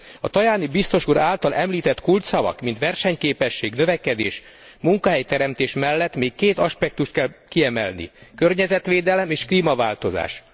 A Tajani biztos úr által említett kulcsszavak, mint versenyképesség, növekedés, munkahelyteremtés mellett még két aspektust kell kiemelni környezetvédelem és klímaváltozás.